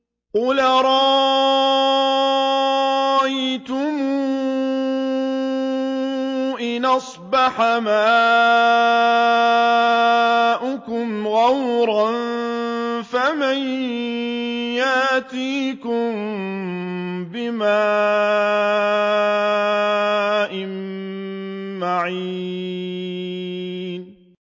قُلْ أَرَأَيْتُمْ إِنْ أَصْبَحَ مَاؤُكُمْ غَوْرًا فَمَن يَأْتِيكُم بِمَاءٍ مَّعِينٍ